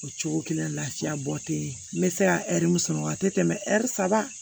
O cogo kelen na lafiya bɔ tɛ yen n bɛ se ka ɛri misɛn a tɛ tɛmɛ ɛri saba